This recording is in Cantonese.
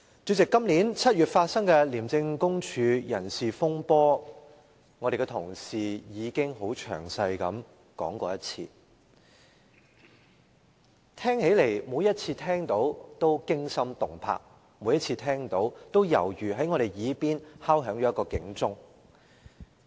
主席，今年7月發生的廉政公署人事風波，會內的同事已經很詳細地提述一遍，每次聽到也驚心動魄，每次聽到也猶如在我們耳邊敲響警鐘。